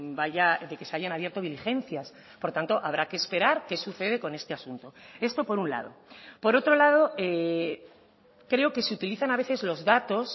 vaya de que se hayan abierto diligencias por tanto habrá que esperar qué sucede con este asunto esto por un lado por otro lado creo que se utilizan a veces los datos